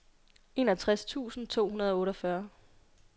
enogtres tusind to hundrede og otteogfyrre